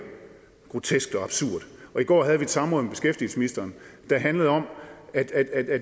grotesk og absurd og i går havde vi et samråd med beskæftigelsesministeren der handlede om at